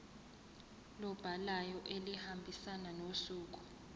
lobhalayo elihambisana nosuku